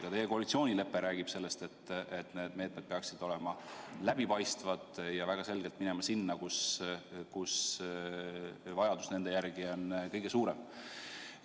Ka teie koalitsioonilepe räägib sellest, et need meetmed peaksid olema läbipaistvad ja raha peaks väga selgelt minema sinna, kus vajadus selle järele on kõige suurem.